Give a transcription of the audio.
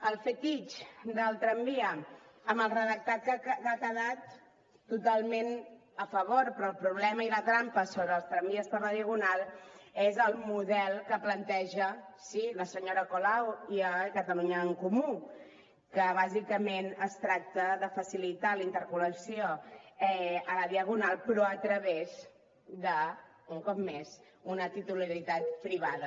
el fetitxe del tramvia amb el redactat que ha quedat totalment a favor però el problema i la trampa sobre els tramvies per la diagonal és el model que plantegen sí la senyora colau i catalunya en comú que bàsicament es tracta de facilitar la interconnexió a la diagonal però a través de un cop més una titularitat privada